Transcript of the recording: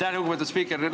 Aitäh, lugupeetud spiiker!